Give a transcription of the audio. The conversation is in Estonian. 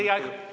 Teie aeg!